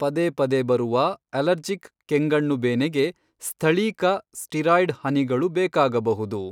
ಪದೇಪದೇ ಬರುವ ಅಲರ್ಜಿಕ್ ಕೆಂಗಣ್ಣುಬೇನೆಗೆ ಸ್ಥಳೀಕ ಸ್ಟೀರಾಯ್ಡ್ ಹನಿಗಳು ಬೇಕಾಗಬಹುದು.